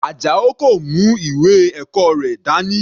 Ajao kò mú ìwé ẹ̀kọ́ rẹ̀ dání.